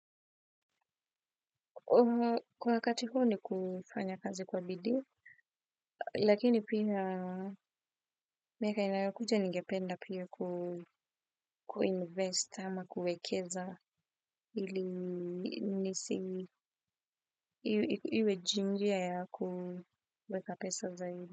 Kwa wakati huuom ni kufanya kazi kwa nidii, lakini pia miaka inayokuja ningependa pia kuinvest ama kuekeza hili nisi iwe iwe jingia ya kuweka pesa zaidi.